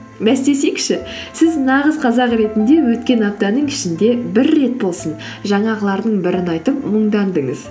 бәстесейікші сіз нағыз қазақ ретінде өткен аптаның ішінде бір рет болсын жаңағылардың бірін айтып мұңдандыңыз